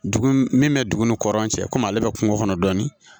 Dugu min bɛ dugu ni kɔrɔlen cɛ komi ale bɛ kungo kɔnɔ dɔɔnin